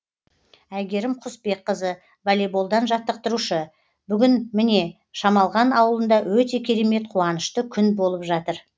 әйгерім құсбекқызы волейболдан жаттықтырушы бүгін міне шамалған ауылында өте керемет қуанышты күн болып жатыр